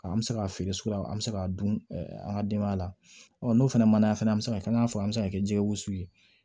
An bɛ se k'a feere sugu la an bɛ se k'a dun an ka denbaya la ɔ n'o fɛnɛ mana se ka kɛ an k'a fɔ an bɛ se ka kɛ jɛgɛ wusu ye